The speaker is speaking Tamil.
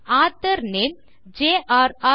author name jrர்